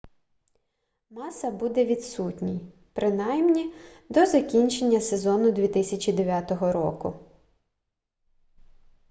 маса буде відсутній принаймні до закінчення сезону 2009 року